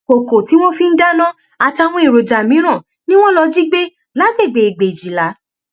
kókó tí wọn fi ń dáná àtàwọn èròjà mìíràn ni wọn lọọ jí gbé lágbègbè ègbèjìlá